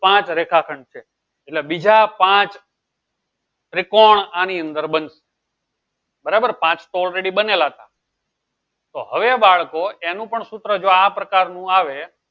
પાંચ રેખાખંડ છે એટલે બીજા પાંચ ત્રિકોણ આની અંદર બંધ બરાબર પાચ તો already બનેલા હતા તો હવે બાળકો એનું પણ સૂત્ર જો આ પ્રકારનું આવે